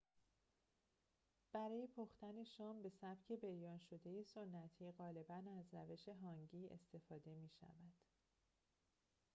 برای پختن شام به سبک بریان‌شده سنتی غالباً از روش هانگی استفاده می‌شود